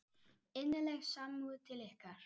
Innileg samúð til ykkar.